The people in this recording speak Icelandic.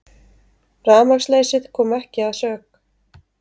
Rafmagnsleysið kom ekki að sök